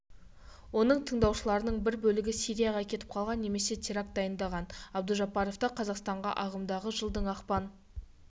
оның тыңдаушыларының бір бөлігі сирияға кетіп қалған немесе теракт дайындаған абдужаббаровты қазақстанға ағымдағы жылдың ақпан